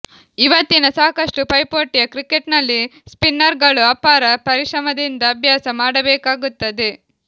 ಇವತ್ತಿನ ಸಾಕಷ್ಟು ಪೈಪೋಟಿಯ ಕ್ರಿಕೆಟ್ನಲ್ಲಿ ಸ್ಪಿನ್ನರ್ಗಳು ಅಪಾರ ಪರಿಶ್ರಮದಿಂದ ಅಭ್ಯಾಸ ಮಾಡಬೇಕಾಗುತ್ತದೆ